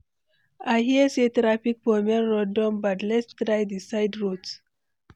I hear say traffic for main road don bad, let’s try di side route.